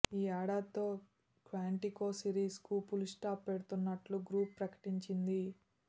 ఈ ఏడాదితో Quantico series కు ఫుల్ స్టాప్ పెడుతున్నట్టు గ్రూప్ ప్రకటించింది